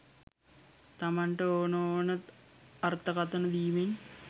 තමන්ට ඕන ඕන අර්ථකතන දීමෙන්